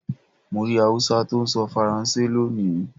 Mo rí Hausa tó ń sọ Faransé lónìí.